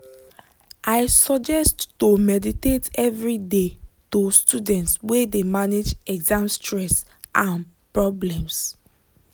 i suggest to meditate every dey to students wey de manage exam stress and problems.